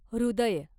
हृदय